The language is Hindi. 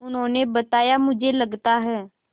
उन्होंने बताया मुझे लगता है